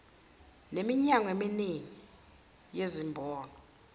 neminyango eminingi yezimboni